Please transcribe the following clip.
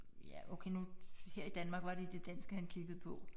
Ja okay nu her i Danmark var det det danske han kiggede på